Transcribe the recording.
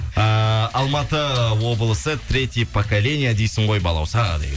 ііі алматы облысы третье поколение дейсің ғой балауса дейді